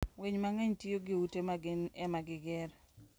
Winy mang'eny tiyo gi ute ma gin ema gigero.